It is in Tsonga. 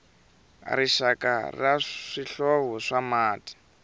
rixaka ra swihlovo swa mati